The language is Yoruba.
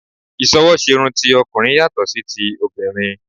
Ìsọwọ́ṣerun ti ọkùnrin yàtọ̀ sí ti obìrin